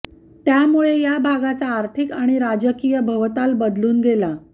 त्यामुळे या भागाचा आर्थिक आणि राजकीय भवताल बदलून गेला